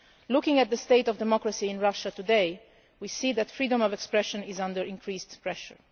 Looking at the state of democracy in Russia today, we see that freedom of expression is under increased pressure.